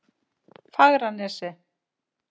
Fagranesi